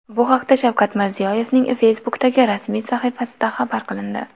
Bu haqda Shavkat Mirziyoyevning Facebook’dagi rasmiy sahifasida xabar qilindi .